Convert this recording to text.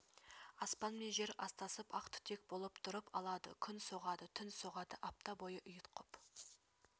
аспан мен жер астасып ақ түтек болып тұрып алады күн соғады түн соғады апта бойы ұйтқып